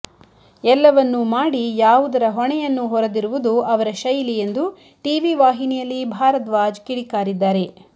ಎಲ್ಲವನ್ನೂ ಮಾಡಿ ಯಾವುದರ ಹೊಣೆಯನ್ನೂ ಹೊರದಿರುವುದು ಅವರ ಶೈಲಿ ಎಂದು ಟಿವಿ ವಾಹಿನಿಯಲ್ಲಿ ಭಾರಧ್ವಾಜ್ ಕಿಡಿಕಾರಿದ್ದಾರೆ